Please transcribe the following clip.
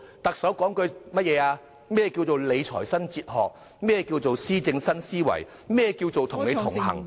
特首說過甚麼，何謂理財新哲學、何謂施政新思維、何謂與你同行......